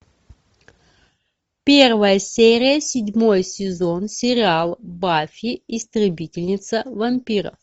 первая серия седьмой сезон сериал баффи истребительница вампиров